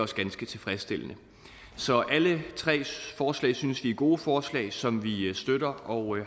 ganske tilfredsstillende så alle tre forslag synes vi er gode forslag som vi støtter og